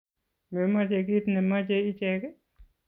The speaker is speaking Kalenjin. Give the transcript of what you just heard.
Memache kiit nemache ichek